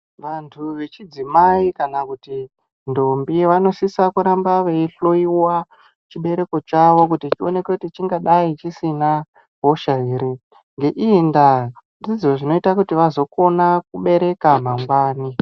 Vantu vechidzimai kana kuti ndombi vanosisa kuramba veihloiwa chibereko chawo ngekuoneka kuti chingadai chisina hosha ere ngeiyi nda ndizvo zvinozoita vazokona kubereka mangwani.